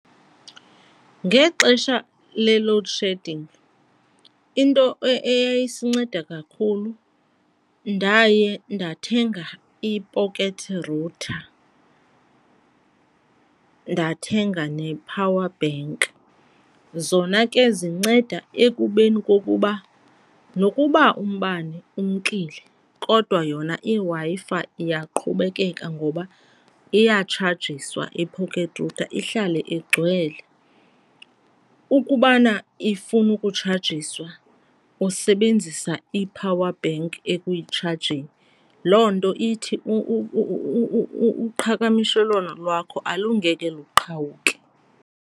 Ngexesha le-load shedding into eyayisinceda kakhulu ndaye ndathenga i-pocket router, ndathenga ne-power bank. Zona ke zinceda ekubeni kokuba nokuba umbane umkile kodwa yona iWi-Fi iyaqhubekeka ngoba iyatshajiswa i-pocket router, ihlale igcwele. Ukubana ifuna ukutshajiswa usebenzisa i-power bank ekuyitshajeni. Loo nto ithi uqhakamishelwano lwakho alungeke luqhawuke.